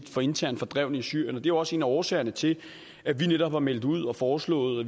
for internt fordrevne i syrien det er også en af årsagerne til at vi netop har meldt ud og foreslået